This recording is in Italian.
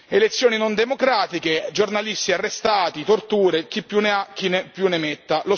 Elezioni non democratiche, giornalisti arrestati, torture e chi più ne ha più ne metta.